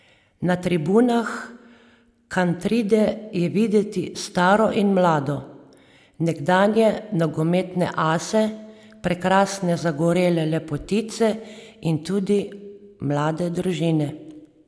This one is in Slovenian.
Na tribunah Kantride je videti staro in mlado, nekdanje nogometne ase, prekrasne zagorele lepotice in tudi mlade družine.